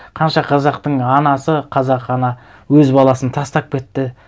қанша қазақтың анасы қазақ ана өз баласын тастап кетті